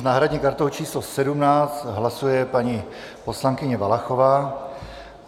S náhradní kartou číslo 17 hlasuje paní poslankyně Valachová.